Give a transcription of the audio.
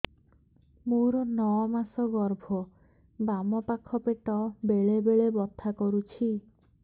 ମୋର ନଅ ମାସ ଗର୍ଭ ବାମ ପାଖ ପେଟ ବେଳେ ବେଳେ ବଥା କରୁଛି